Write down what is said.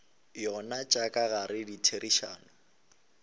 yona tša ka gare ditherišano